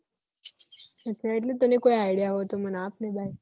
અચ્છા એટલે તને કોઈ idea હોય તો મન આપને